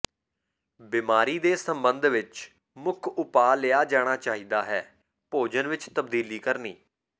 ਬਿਮਾਰੀ ਦੇ ਸੰਬੰਧ ਵਿਚ ਮੁੱਖ ਉਪਾਅ ਲਿਆ ਜਾਣਾ ਚਾਹੀਦਾ ਹੈ ਭੋਜਨ ਵਿਚ ਤਬਦੀਲੀ ਕਰਨੀ